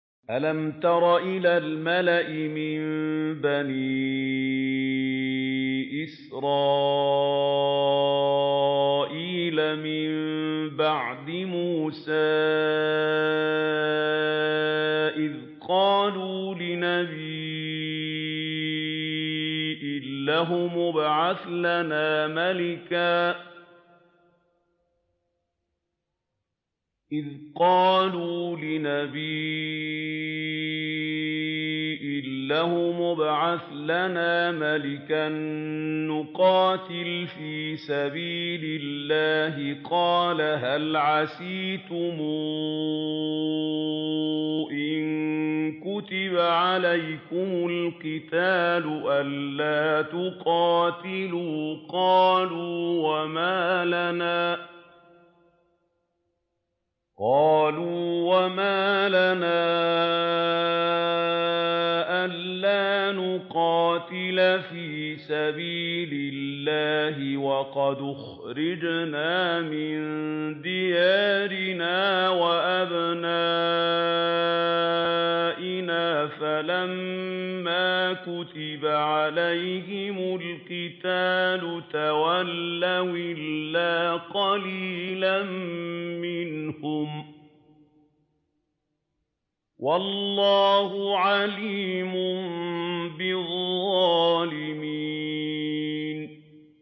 أَلَمْ تَرَ إِلَى الْمَلَإِ مِن بَنِي إِسْرَائِيلَ مِن بَعْدِ مُوسَىٰ إِذْ قَالُوا لِنَبِيٍّ لَّهُمُ ابْعَثْ لَنَا مَلِكًا نُّقَاتِلْ فِي سَبِيلِ اللَّهِ ۖ قَالَ هَلْ عَسَيْتُمْ إِن كُتِبَ عَلَيْكُمُ الْقِتَالُ أَلَّا تُقَاتِلُوا ۖ قَالُوا وَمَا لَنَا أَلَّا نُقَاتِلَ فِي سَبِيلِ اللَّهِ وَقَدْ أُخْرِجْنَا مِن دِيَارِنَا وَأَبْنَائِنَا ۖ فَلَمَّا كُتِبَ عَلَيْهِمُ الْقِتَالُ تَوَلَّوْا إِلَّا قَلِيلًا مِّنْهُمْ ۗ وَاللَّهُ عَلِيمٌ بِالظَّالِمِينَ